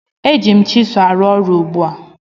Eji m chịsụ arụ ọrụ ugbu a